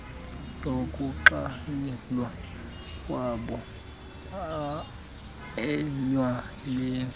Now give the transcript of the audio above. yokuxhayelwa kwabo etywaleni